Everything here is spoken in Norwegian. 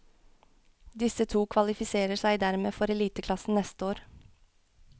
Disse to kvalifiserer seg dermed for eliteklassen neste år.